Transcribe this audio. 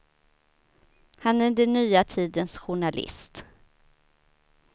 Han är den nya tidens journalist.